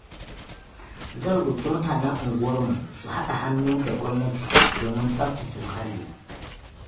Zan roƙi mutanen unguwarmu su haɗa hannu da gwamnati domin tsaftace muhalli.